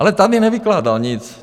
Ale tady nevykládal nic.